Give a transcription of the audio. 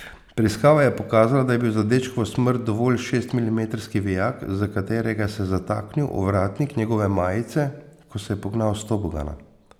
Preiskava je pokazala, da je bil za dečkovo smrt dovolj šestmilimetrski vijak, za katerega se je zataknil ovratnik njegove majice, ko se je pognal s tobogana.